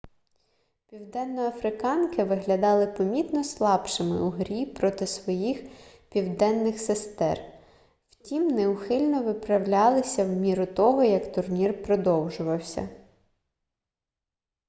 південноафриканки виглядали помітно слабшими у грі проти своїх південних сестер втім неухильно виправлялися в міру того як турнір продовжувався